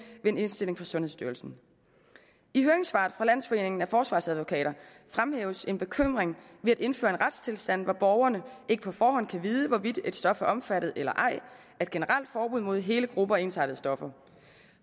ved en indstilling fra sundhedsstyrelsen i høringssvaret fra landsforeningen af forsvarsadvokater fremhæves en bekymring ved at indføre en retstilstand hvor borgerne ikke på forhånd kan vide hvorvidt et stof er omfattet eller ej af et generelt forbud mod hele grupper af ensartede stoffer